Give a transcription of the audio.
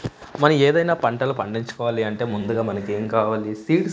మనం ఏదైనా పంటలు పండించుకోవాలి అంటే ముందుగా మనకు ఏమ్ కావాలి సీడ్స్ --